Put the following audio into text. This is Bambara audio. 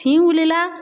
Kin wulila